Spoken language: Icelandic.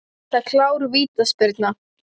Er þetta klár vítaspyrna?